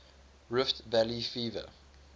rift valley fever